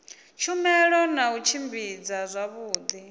tshumelo na u tshimbidza zwavhudi